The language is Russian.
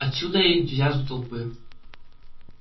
отсюда и энтузиазм толпы